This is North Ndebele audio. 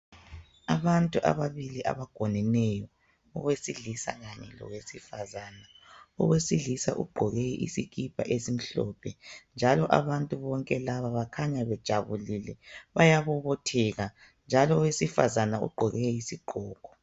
Abantu ababili abangoneneyo owesilisa kanye lowesifazana , owesilisa ugqoke isikipa esimhlophe njalo abantu bonke laba bakhanya bejabulile bayabobotheka njalo owesifazana ugqoke isigqoko.